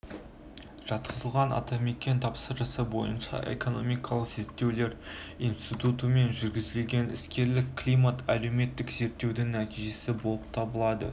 жатқызылған атамекен тапсырысы бойынша экономикалық зерттеулер институтымен жүргізілген іскерлік климат әлеуметтік зерттеудің нәтижесі болып табылады